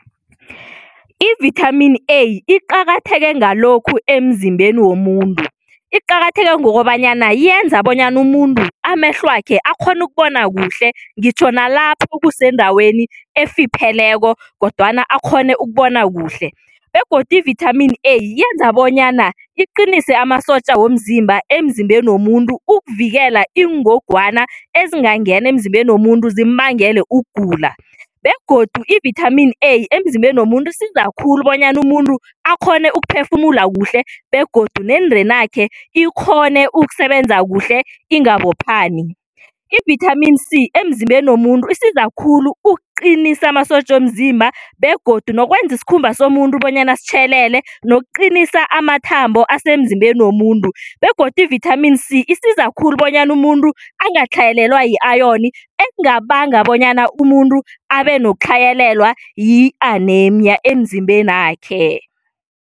Ivithamini A iqakatheke ngalokhu emzimbeni womuntu. Iqakatheke ngokobanyana yenza bonyana umuntu amehlwakhe akghone ukubona kuhle ngitjho nalapha kusendaweni efipheleko kodwana akghone ukubona kuhle begodu ivithamini A yenza bonyana iqinise amasotja womzimba emzimbeni womuntu ukuvikela iingogwana ezingangena emzimbeni womuntu zimbangele ukugula begodu ivithamini A emzimbeni womuntu isiza khulu bonyana umuntu akghone ukuphefumula kuhle begodu nendenakhe ikghone ukusebenza kuhle ingabophani. Ivithamini C emzimbeni womuntu isiza khulu ukuqinisa amasotja womzimba begodu nokwenza isikhumba somuntu bonyana sitjhelele ngokuqinisa amathambo asemzimbeni womuntu begodu ivithamini C isiza khulu bonyana umuntu angatlhayelelwa yi-ayoni ekungabanga bonyana umuntu abe nokutlhayela yi-anemnya emzimbenakhe.